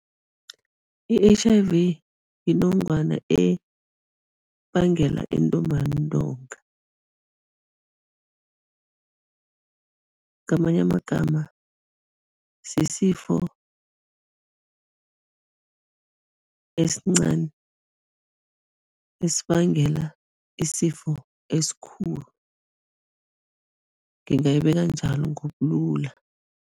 I-H_I_V yinongwana ebangela intumbantonga, ngamanye amagama sisifo esincani, esibangela isifo esikhulu, ngingayibeka njalo ngobulula.